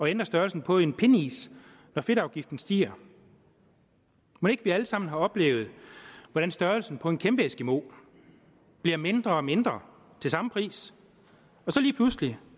ændre størrelsen på en pindis når fedtafgiften stiger mon ikke vi alle sammen har oplevet hvordan størrelsen på en kæmpe eskimo bliver mindre og mindre til samme pris og så lige pludselig